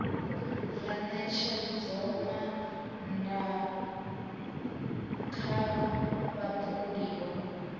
ya ṋetshedzomaa ṋda kha vhapondiwa